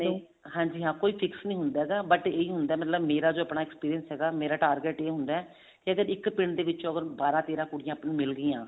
ਨਹੀਂ ਹਾਂਜੀ ਹਾਂ ਕੋਈ fix ਨੀ ਹੁੰਦਾ ਹੈਗਾ but ਇਹੀ ਹੁੰਦਾ ਵੀ ਮਤਲਬ ਮੇਰਾ ਜੋ ਆਪਣਾ experience ਹੈਗਾ ਮੇਰਾ target ਇਹ ਹੁੰਦਾ ਕੀ ਅਗਰ ਇੱਕ ਪਿੰਡ ਦੇ ਵਿੱਚ ਬਾਰਾਂ ਤੇਰਾ ਕੁੜੀਆਂ ਮਿਲਗੀਆਂ